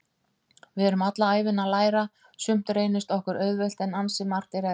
Við erum alla ævina að læra, sumt reynist okkur auðvelt en ansi margt er erfitt.